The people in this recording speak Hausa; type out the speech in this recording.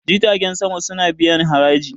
jitagen sama suna biyan haraji